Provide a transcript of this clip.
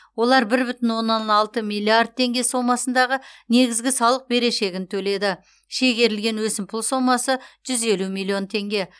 олар бір бүтін оннан алты миллиард теңге сомасындағы негізгі салық берешегін төледі шегерілген өсімпұл сомасы жүз елу миллион теңге